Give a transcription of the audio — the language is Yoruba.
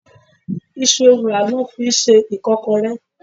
Iṣu ewùrà lọ fi ń ṣe Ìkọ́kọrẹ́.